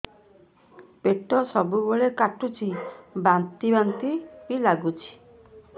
ପେଟ ସବୁବେଳେ କାଟୁଚି ବାନ୍ତି ବାନ୍ତି ବି ଲାଗୁଛି